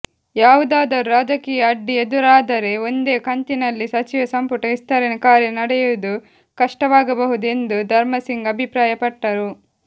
ಯಾವುದಾದರೂ ರಾಜಕೀಯ ಅಡ್ಡಿ ಎದುರಾದರೆ ಒಂದೇ ಕಂತಿನಲ್ಲಿ ಸಚಿವ ಸಂಪುಟ ವಿಸ್ತರಣೆ ಕಾರ್ಯ ನಡೆಯುವುದು ಕಷ್ಟವಾಗಬಹುದು ಎಂದು ಧರ್ಮಸಿಂಗ್ ಅಭಿಪ್ರಾಯಪಟ್ಟರು